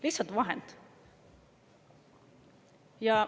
Lihtsalt vahend.